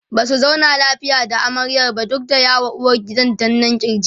Basu zauna lafiya da amaryar ba duk da ya ma uwargidan danna kirki